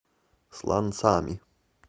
сланцами